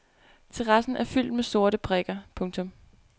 Terrassen er fyldt med sorte prikker. punktum